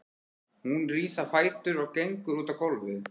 Hún rís á fætur og gengur út á gólfið.